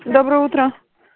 доброе утро